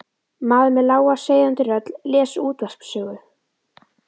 Maður með lága seiðandi rödd les útvarpssögu.